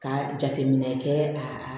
Ka jateminɛ kɛ a